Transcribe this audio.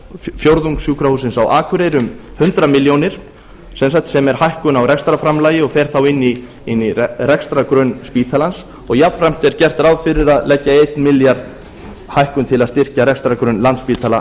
fjórðungssjúkrahússins á akureyri um hundrað ár sem er hækkun á rekstrarframlagi og fer þá inn í rekstrargrunn spítalans og jafnframt er gert ráð fyrir að leggja einn milljarð hækkun til að styrkja rekstrargrunn landspítala